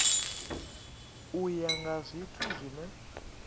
u ya nga zwithu zwine